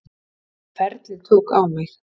Ferlið tók á mig